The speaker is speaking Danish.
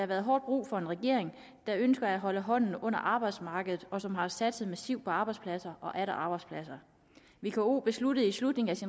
været hårdt brug for en regering der ønsker at holde hånden under arbejdsmarkedet og som har satset massivt på arbejdspladser og atter arbejdspladser vko besluttede i slutningen af